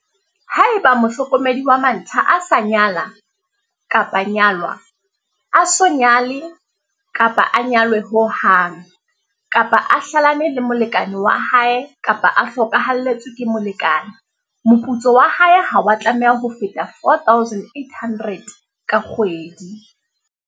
Haeba mohlokomedi wa mantlha a sa nyala kapa nyalwa, a so nyale kapa nyalwe ho hang, kapa a hlalane le molekane wa hae kapa a hlokahalletswe ke molekane, moputso wa hae ha wa tlameha ho feta R4 800 ka kgwedi.